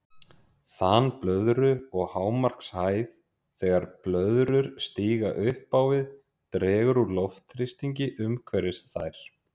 Þan blöðru og hámarkshæð Þegar blöðrur stíga upp á við dregur úr loftþrýstingi umhverfis þær.